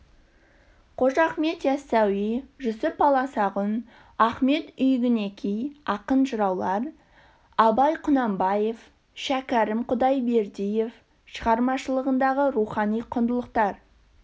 қожа ахмет ясауи жүсіп баласағұн ахмет йүгінеки ақын жыраулар абай құнанбаев шәкәрім құдайбердиев шығармашылығындағы рухани құндылықтар